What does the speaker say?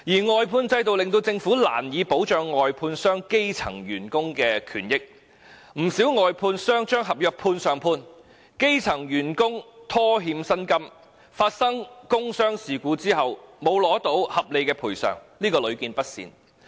外判制度令政府難以保障外判商聘用的基層員工的權益，不少外判商把合約"判上判"，基層員工被拖欠薪金，發生工傷事故後不獲合理賠償等問題屢見不鮮。